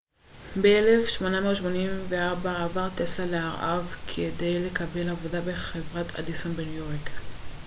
ב-1884 עבר טסלה לארה ב כדי לקבל עבודה בחברת אדיסון בניו-יורק